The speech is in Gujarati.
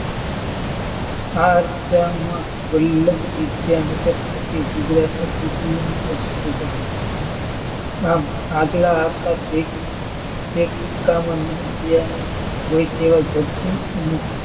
આ અરસામાં વલ્લવિદ્યાનગર ખાતે ગુજરાતની ત્રીજી યુનિવર્સિટી સ્થપાઈ. આમ આગલા અકસ્મિક હોય તેવા,